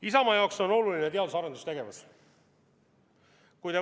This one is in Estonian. Isamaa jaoks on oluline teadus- ja arendustegevus.